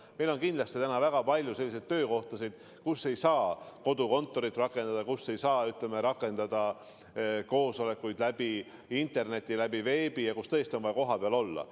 Meil on kindlasti väga palju selliseid töökohti, kus ei saa kodukontorit rakendada, kus ei saa ka koosolekuid teha interneti, veebi kaudu ja tõesti on vaja kohapeal olla.